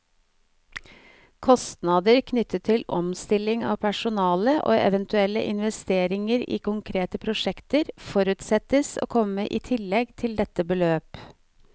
Kostnader knyttet til omstilling av personale, og eventuelle investeringer i konkrete prosjekter, forutsettes å komme i tillegg til dette beløp.